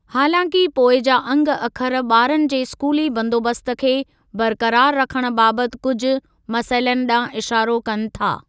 हालांकि पोइ जा अंग अखर ॿारनि जे स्कूली बंदोबस्त खे बरक़रार रखण बाबति कुझु मसइलनि ॾांहुं इशारो कनि था।